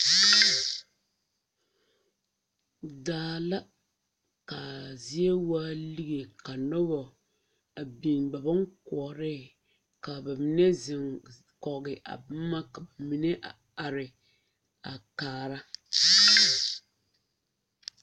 Daa la kaa zeɛ waa legɛ ka nuba a biŋ ba bon kuorɛɛ ka ba menne zeŋ kɔgi a buma ka ba menne a arɛ a kaara.